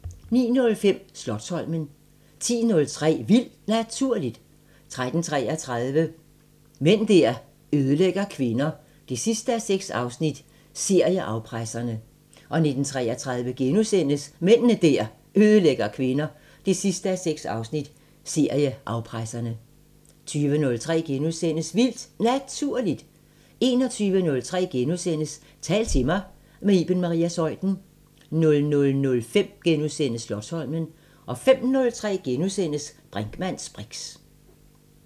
09:05: Slotsholmen 10:03: Vildt Naturligt 13:33: Mænd der ødelægger kvinder 6:6 – Serieafpresserne 19:33: Mænd der ødelægger kvinder 6:6 – Serieafpresserne * 20:03: Vildt Naturligt * 21:03: Tal til mig – med Iben Maria Zeuthen * 00:05: Slotsholmen * 05:03: Brinkmanns briks *